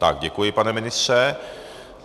Tak děkuji, pane ministře.